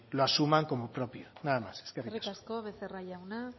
lo asuma como propio nada más eskerrik asko eskerrik asko becerra jauna